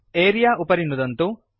अरेऽ उपरि नुदन्तु